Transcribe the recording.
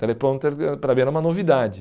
Teleprompter era, para mim, era uma novidade.